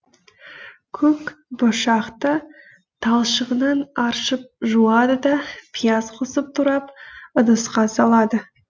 көк бұршақты талшығынан аршып жуады да пияз қосып турап ыдысқа салады